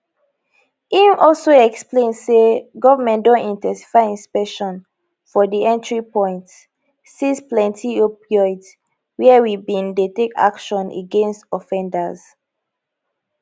im also explain say goment don in ten sify inspection for di entry points seize plenty opioids wia we bin dey take action against offenders